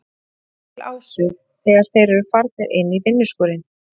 Bjössi brosir til Ásu þegar þeir eru farnir inn í vinnuskúrinn.